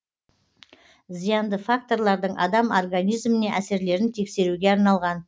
зиянды факторлардың адам организміне әсерлерін тексеруге арналған